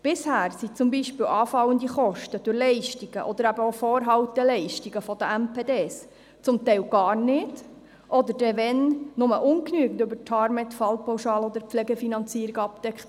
Bisher wurden anfallende Kosten durch Leistungen oder auch durch Vorhalteleistungen der MPD teils gar nicht, teils ungenügend über die Tarmed-Fallpauschale oder die Pflegefinanzierung abgedeckt.